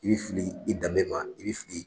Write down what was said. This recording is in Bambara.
I bɛ fili i danbe ma i bɛ fili